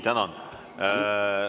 Tänan!